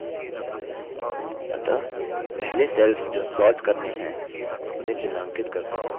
अतः पहले cells जो sorted करने हैं उन्हें चिन्हांकित करते हैं cost cells पर क्लिक करते हैं